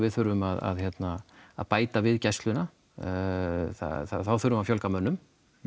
þurfum að hérna að bæta við gæsluna þá þurfum við að fjölga mönnum